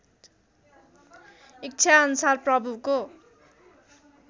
इच्छा अनुसार प्रभुको